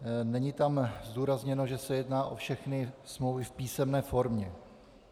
Není tam zdůrazněno, že se jedná o všechny smlouvy v písemné formě.